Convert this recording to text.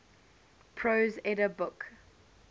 prose edda book